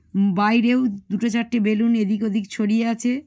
উম বাইরেরও দুটো চারটে বেলুন এদিক ওদিক ছড়িয়ে আছে।